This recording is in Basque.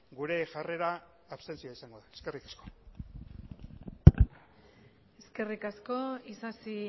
gure jarrera abstentzioa izango da eskerrik asko eskerrik asko isasi